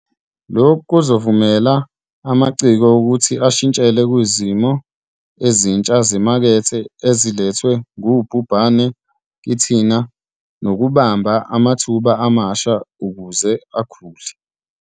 Lokhu kuzovumela amaciko ukuthi ashintshele kuzimo ezintsha zemakethe ezilethwe ngubhubhane kithina nokubamba amathuba amasha ukuze akhule.